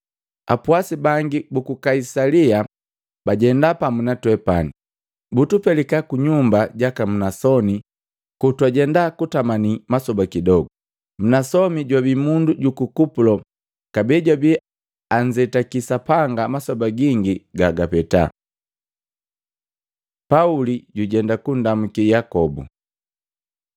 Apwasi bangi buku Kaisalia bajenda pamu na twepani, butupelika kunyumba jaka Mnasoni kotwajenda kutamani masoba kidogu. Mnasoni jwabi mundu juku Kupulo kabee jwabi anzetaki Sapanga masoba gingi gagapeta. Pauli jujenda kundamuki Yakobu